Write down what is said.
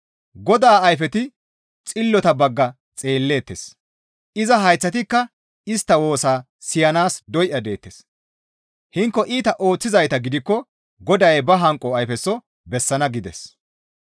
Godaa ayfeti xillota bagga xeelleettes; iza hayththatikka istta woosaa siyanaas doya deettes; hinko iita ooththizayta gidikko Goday ba hanqo ayfeso bessana» gides.